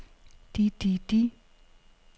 de de de